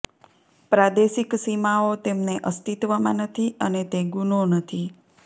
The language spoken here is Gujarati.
પ્રાદેશિક સીમાઓ તેમને અસ્તિત્વમાં નથી અને તે ગુનો નથી